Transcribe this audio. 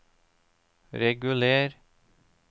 reguler